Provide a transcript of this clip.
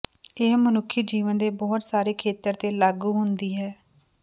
ਇਹ ਮਨੁੱਖੀ ਜੀਵਨ ਦੇ ਬਹੁਤ ਸਾਰੇ ਖੇਤਰ ਤੇ ਲਾਗੂ ਹੁੰਦੀ ਹੈ